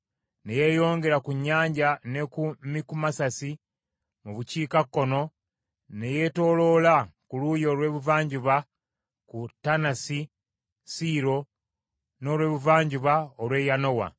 ne yeeyongera ku nnyanja ne ku Mikumesasi mu bukiikakkono ne yeetooloola ku luuyi olw’ebuvanjuba ku Taanasi Siiro, n’olwebuvanjuba olw’e Yanoa,